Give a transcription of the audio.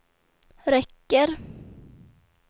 räcker